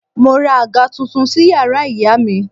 Mo ra àga tuntun sí yàrá ìyá mi